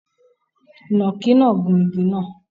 Ìnàkí náà gun igi náà